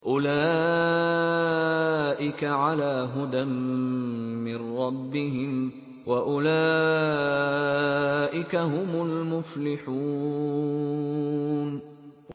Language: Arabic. أُولَٰئِكَ عَلَىٰ هُدًى مِّن رَّبِّهِمْ ۖ وَأُولَٰئِكَ هُمُ الْمُفْلِحُونَ